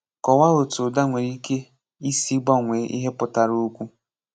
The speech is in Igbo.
Kọ̀wáa ótú ụ̀dá nwèrè íké ísì gbànwèè íhè pụ̀tàrà òkwú.